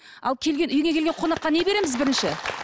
ал келген үйге келген қонаққа не береміз бірінші